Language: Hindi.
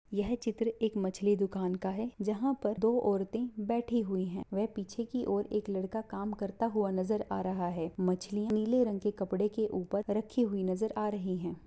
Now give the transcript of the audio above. यह चित्र एक मछली दुकान का है जहाँ पर दो औरतें बैठी हुयी हैं वह पीछे की और एक लड़का काम करता हुआ नजर आ रहा है मछली नीले रंग के कपडे के ऊपर रखी हुयी नजर आ रही हैं।